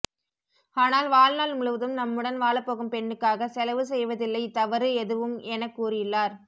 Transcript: ஆனால் வாழ்நாள் முழுவதும் நம்முடன் வாழப்போகும் பெண்ணுக்காக செலவு செய்வதில்லை தவறு எதுவும் என கூறியுள்ளார்